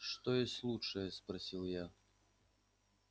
что есть лучшее спросил я